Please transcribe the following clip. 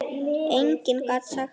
Enginn gat sagt það.